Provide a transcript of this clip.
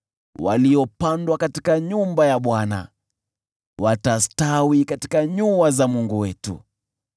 waliopandwa katika nyumba ya Bwana , watastawi katika nyua za Mungu wetu.